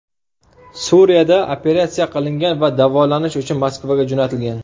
Suriyada operatsiya qilingan va davolanish uchun Moskvaga jo‘natilgan.